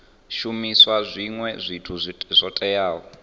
shumisa zwinwe zwithu zwo teaho